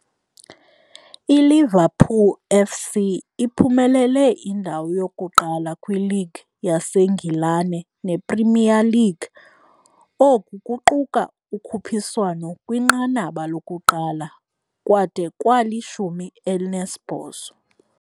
ILiverpool FC iphumelele indawo yokuqala kwiLeague yaseNgilane, ne-Premier League oku kuquka ukhuphiswano kwinqanaba lokuqala, kwade kwali-18.